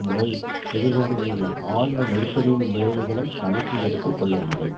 முறை எதிர் கொண்டுள்ள ஆழ்ந்த நெருக்கடியின் விளைவுகளை கணக்கில் எடுத்து கொள்ளவில்லை